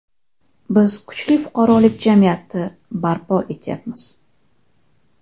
Biz kuchli fuqarolik jamiyati barpo etyapmiz.